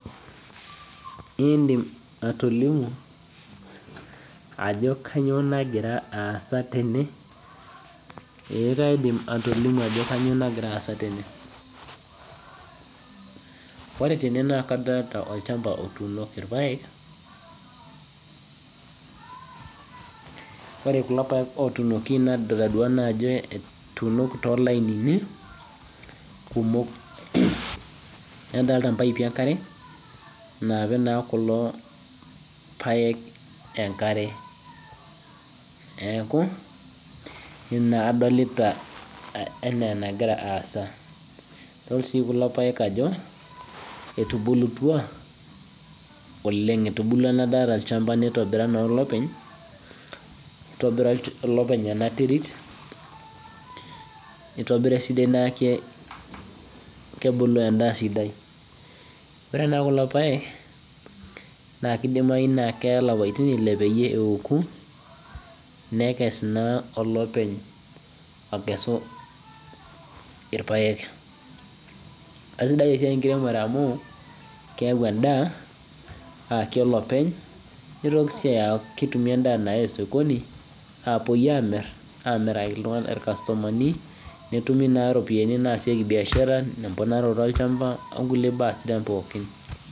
Idim atolimu ajo kainyoo nagira aasa tene. Ee kaidim atolimu ajo kainyo nagira aasa tene. Ore tene naa kadolita olchamba otunoki irpaek. Ore kulo paek otunoki nidolita ajo etunoki too lainini kumok nadolita impaipi enkare napik na kulo paek enkare. Neeku ina adolita ana kegira aasa. Adol si kulo paek ajo etubulutua oleng' etubulua ena daa olchamba nitobira naa olopeny. Itobira olopeny ena terit nitobir esidai neeku kebulu edaa sidai. Ore naa kuko paek na keya ilapaitin ile peyie eoku nekes naa olepeny akesu irpaek. Esidai esiai enkiremore amu keyau edaa ayaki olepeny nitoki sii aku ketumi edaa nayai sokoni apuo amiraki ircustomani petumi naa iropiani naasieki biashara nairemieki olchamba oo nkulie baa sidan pookin